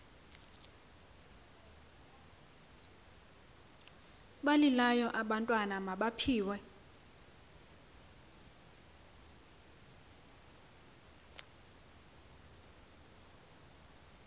balilayo abantwana mabaphiwe